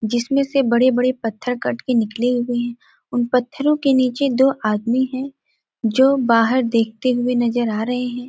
जिसमें से बड़े -बड़े पत्थर कट के निकले हुए हैं। उन पत्थरों के नीचे दो आदमी हैं जो बाहर देखते हुए नजर आ रहे हैं।